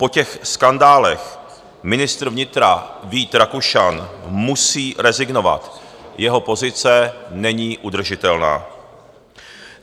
Po těch skandálech ministr vnitra Vít Rakušan musí rezignovat, jeho pozice není udržitelná.